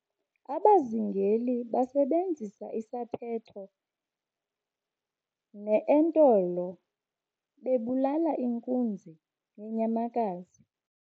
abazingeli basebenzisa isaphetha neentolo bebulala inkunzi yenyamakazi